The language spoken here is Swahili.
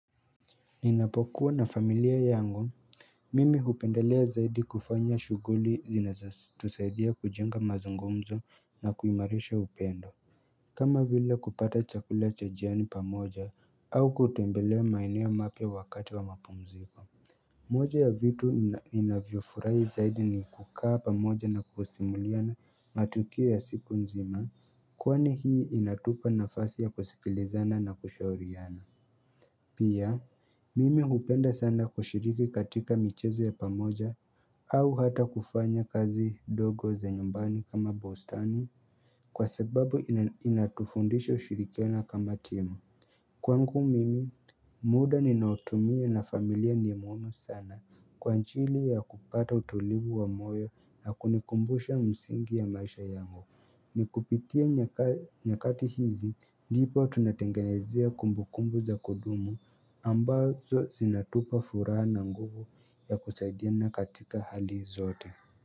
Ninapokuwa na familia yangu mimi hupendelea zaidi kufanya shuguli zinazotusaidia kujenga mazungumzo na kuimarisha upendo kama vile kupata chakula cha jioni pamoja au kutembelea maeneo mapya wakati wa mapumziko moja ya vitu ninavyofurahi zaidi ni kukaa pamoja na kusimuliana matukio ya siku nzima kwani hii inatupa nafasi ya kusikilizana na kushauriana Pia mimi hupenda sana kushiriki katika michezo ya pamoja au hata kufanya kazi dogo za nyumbani kama bostani kwa sababu inatufundisha ushirikiano kama timu Kwangu mimi muda ninaotumia na familia ni muhimu sana kwa anjili ya kupata utulivu wa moyo na kunikumbusha msingi ya maisha yangu ni kupitia nyakati hizi ndipo tunatengenezea kumbukumbu za kudumu ambazo zinatupa furaha na nguvu ya kusaidiana katika hali zote.